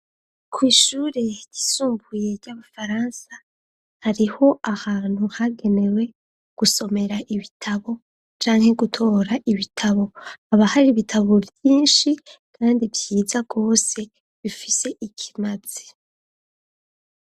Kw'ishure ryisumbuye ry'abafaransa hariho ahantu hagenewe gusomera ibitabo canke gutora ibitabo aba hari ibitabo vyinshi kandi vyiza gose bifise ikimazi.